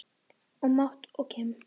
Og Matt og Kim?